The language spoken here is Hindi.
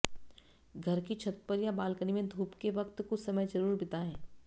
घर की छत या बालकनी में धूप के वक्त कुछ समय जरूर बिताएं